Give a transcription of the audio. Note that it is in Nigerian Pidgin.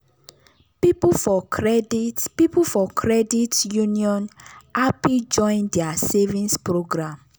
people for credit people for credit union happy join their savings program.